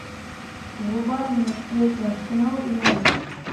врубай мне встречу арсенал и норвич